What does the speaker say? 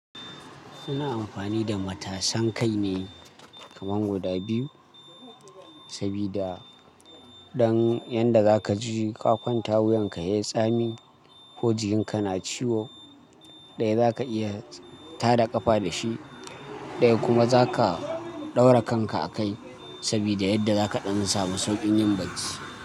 Suna amfani da matasan kai ne kaman guda biyu, sabida don yanda zaka ji ka kwanta wuyanka yayi tsami ko jikinka na ciwo, ɗaya zaka iya tada ƙafa da shi, ɗaya kuma zaka ɗaura kanka a kai sabida yadda zaka ɗan samu sauƙin yin bacci.